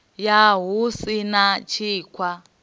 ya hu si na thikhwa